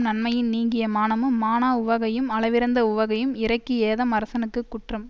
நன்மையின் நீங்கிய மானமும் மாணா உவகையும் அளவிறந்த உவகையும் இறைக்கு ஏதம் அரசனுக்கு குற்றம்